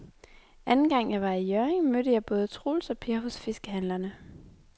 Anden gang jeg var i Hjørring, mødte jeg både Troels og Per hos fiskehandlerne.